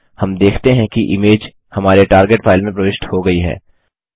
हम देखते हैं कि इमेज हमारे टारगेट फाइल में प्रविष्ट हो गयी है